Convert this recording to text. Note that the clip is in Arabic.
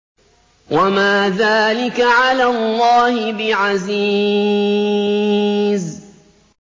وَمَا ذَٰلِكَ عَلَى اللَّهِ بِعَزِيزٍ